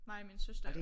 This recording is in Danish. Mig og min søster